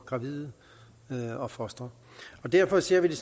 gravide og fostre derfor ser vi det